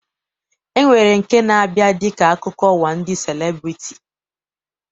E nwere nke na-abịa dịka akụkọ ụwa ndị celebriti